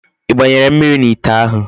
I gbanyere mmiri n'ite ahu?